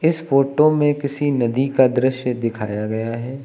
इस फोटो में किसी नदी का दृश्य दिखाया गया है।